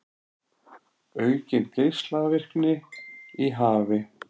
Aukin geislavirkni í hafi